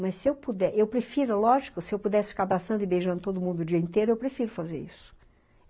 Mas se eu puder, eu prefiro, lógico, se eu pudesse ficar abraçando e beijando todo mundo o dia inteiro, eu prefiro fazer isso.